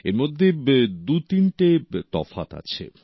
এর মধ্যে দুতিনটে তফাৎ আছে